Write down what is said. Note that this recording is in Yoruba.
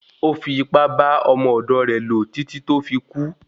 Ò fi ipá bá ọmọ ọ̀dọ̀ rẹ lò títí tó fi kún.